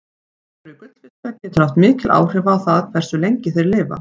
Umhverfi gullfiska getur haft mikil áhrif á það hversu lengi þeir lifa.